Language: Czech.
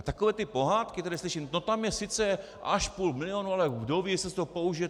A takové ty pohádky, které slyším, to tam je sice až půl milionu, ale kdo ví, jestli se to použije.